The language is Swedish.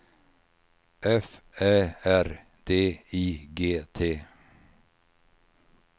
F Ä R D I G T